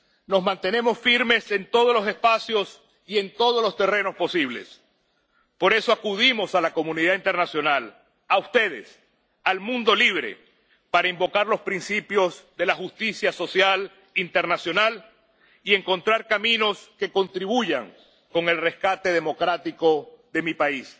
Nos mantenemos firmes en todos los espacios y en todos los terrenos posibles. Por eso, acudimos a la comunidad internacional, a ustedes, al mundo libre, para invocar los principios de justicia social internacional y encontrar caminos que contribuyan al rescate democrático de mi país.